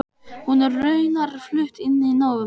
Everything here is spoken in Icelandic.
Hún er raunar flutt inn í nóvember.